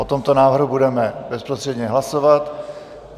O tomto návrhu budeme bezprostředně hlasovat.